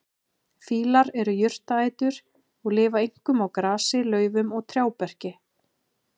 Fílar eru jurtaætur og lifa einkum á grasi, laufum og trjáberki.